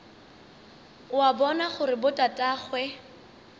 o a bona gore botatagwe